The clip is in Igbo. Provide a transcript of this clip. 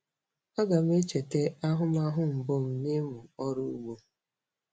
Aga m echeta ahụmahụ mbụ m nịmụ ọrụ ugbo.